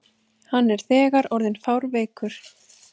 Hann er þegar orðinn fárveikur.